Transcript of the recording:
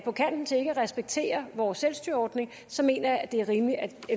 på kanten til ikke at respektere vores selvstyreordning så mener jeg det er rimeligt at